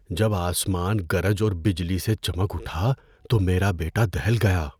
جب آسمان گرج اور بجلی سے چمک اٹھا تو میرا بیٹا دہل گیا۔